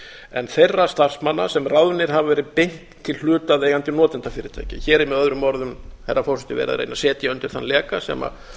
en þeirra starfsmanna sem ráðnir hafa verið beint til hlutaðeigandi notendafyrirtækja hér er möo herra forseti verið að reyna að setja undir þann leka sem